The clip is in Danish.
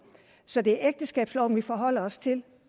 så det er ægteskabsloven vi forholder os til